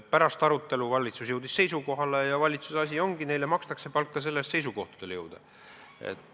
Pärast arutelu jõudis valitsus seisukohale ja see ongi valitsuse asi, neile makstakse palka selle eest, et nad seisukohtadele jõuaksid.